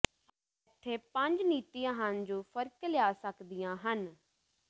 ਇੱਥੇ ਪੰਜ ਨੀਤੀਆਂ ਹਨ ਜੋ ਫਰਕ ਲਿਆ ਸਕਦੀਆਂ ਹਨ